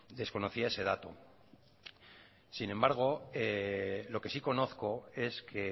desconocía ese dato sin embargo lo que sí conozco es que